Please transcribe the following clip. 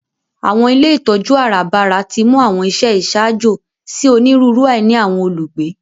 Àwọn ilé ìtójú àràbarà timú àwọn iṣẹ iṣaajo si oniruuru àìní àwọn olugbe.